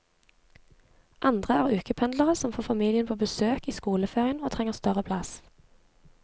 Andre er ukependlere som får familien på besøk i skoleferien og trenger større plass.